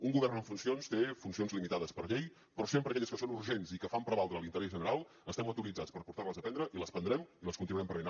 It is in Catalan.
un govern en funcions té funcions limitades per llei però sempre aquelles que són urgents i que fan prevaldre l’interès general estem autoritzats per portar les a terme i les prendrem i les continuarem prenent